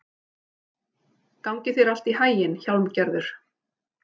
Gangi þér allt í haginn, Hjálmgerður.